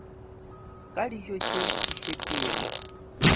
ka dijo tše di šetšego